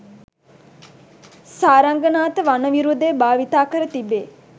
සාරංගනාථ වන විරුදය භාවිත කර තිබේ.